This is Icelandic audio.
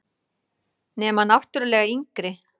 Nema náttúrlega yngri.